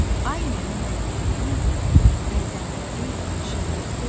Ay mənim Vətənimin əzəməti, şöhrəti!